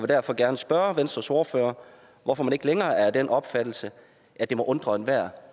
derfor gerne spørge venstres ordfører hvorfor man ikke længere er af den opfattelse at det må undre enhver